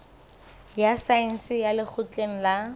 ya saense ya lekgotleng la